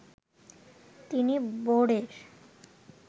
তিনি বোর্ডের